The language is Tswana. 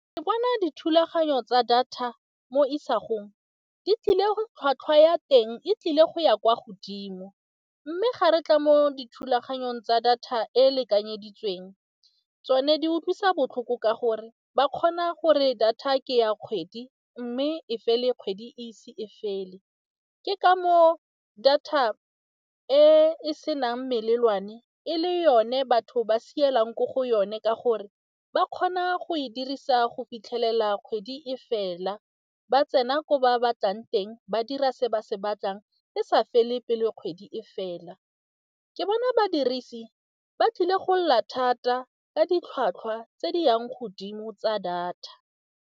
Ke bona dithulaganyo tsa data mo isagong, di tlile tlhwatlhwa ya teng e tlile go ya kwa godimo. Mme ga re tla mo dithulaganyong tsa data e e lekanyeditsweng, tsone di utlwisa botlhoko ka gore ba kgona gore data ke ya kgwedi mme e fele kgwedi e ise e fele. Ke ka moo data e e senang melelwane e le yone batho ba sa ko go yone ka gore, ba kgona go e dirisa go fitlhelela kgwedi e fela. Ba tsena ko ba batlang teng ba dira se ba se batlang e sa fa le pele kgwedi e fela. Ke bona badirisi ba tlile go lla thata ka ditlhwatlhwa tse di yang godimo tsa data.